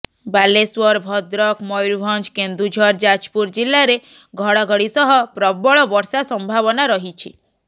ବାଲେଶ୍ବର ଭଦ୍ରକ ମୟୁରଭଞ୍ଜ କେନ୍ଦୁଝର ଯାଜପୁର ଜିଲ୍ଲାରେ ଘଡଘଡି ସହ ପ୍ରବଳ ବର୍ଷା ସମ୍ଭାବନା ରହିଛି